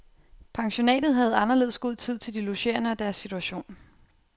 Pensionatet havde anderledes god tid til de logerende og deres situation.